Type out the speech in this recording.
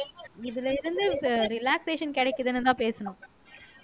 இதுல இருந்து relaxation கிடைக்குதுன்னுதான் பேசுனோம்